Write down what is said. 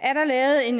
er der lavet en